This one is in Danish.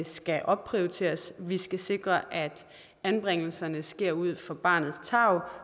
skal opprioriteres vi skal sikre at anbringelserne sker ud fra barnets tarv